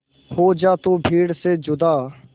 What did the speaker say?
हो जा तू भीड़ से जुदा